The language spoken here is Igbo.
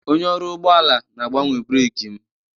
Onye ọrụ ụgbọala na-agbanwe breeki m